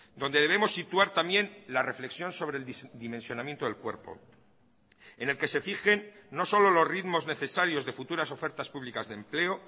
donde debemos situar también la reflexión sobre el dimensionamiento del cuerpo en el que se fijen no solo los ritmos necesarios de futuras ofertas públicas de empleo